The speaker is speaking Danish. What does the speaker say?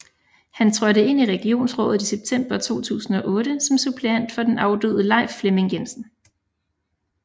Han trådte ind i regionsrådet i september 2008 som suppleant for den afdøde Leif Flemming Jensen